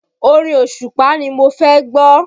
Orin Òṣùpá ni mo fẹ́ gbọ́